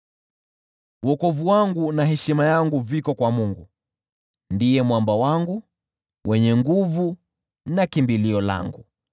Wokovu wangu na heshima yangu viko kwa Mungu, ndiye mwamba wangu wenye nguvu na kimbilio langu.